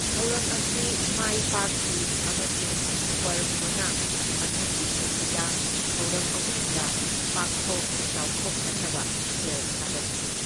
ꯊꯧꯔꯝ ꯑꯁꯤ ꯃꯥꯏ ꯄꯥꯛꯈꯤ ꯑꯃꯁꯨꯡ ꯀ꯭ꯋꯔꯚꯣꯅ ꯃꯊꯪꯒꯤ ꯆꯍꯤꯗ ꯊꯧꯔꯝ ꯑꯍꯨꯝꯗ ꯄꯥꯛꯊꯣꯛ ꯆꯥꯎꯊꯣꯛꯍꯟꯅꯕ ꯁꯦꯜ ꯊꯥꯗꯈꯤ꯫